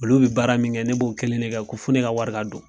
Olu bi baara min kɛ ne b'o kelen de kɛ ko fo ne ka wari don.